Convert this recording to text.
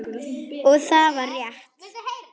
Og það var rétt.